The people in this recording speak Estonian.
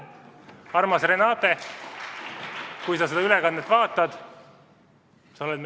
Armas Renate, kui sa seda ülekannet vaatad!